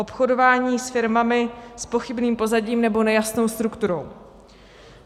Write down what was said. Obchodování s firmami s pochybným pozadím nebo nejasnou strukturou.